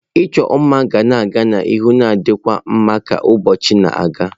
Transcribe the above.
Ịchọ mma ga-aga n'ihu na-ditukwa mma ka ụbọchị na-aga.